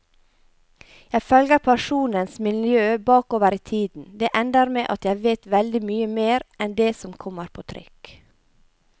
Jeg følger personenes miljø bakover i tiden, det ender med at jeg vet veldig mye mer enn det som kommer på trykk.